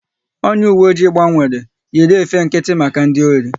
Onye uwe oji gbanwere, yiri efe nkịtị maka ndị ori